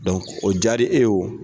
o diyara e ye